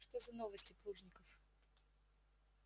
что за новости плужников